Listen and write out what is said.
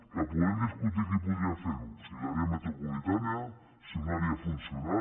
que podem discutir qui podria fer ho si l’àrea metropolitana si una àrea funcional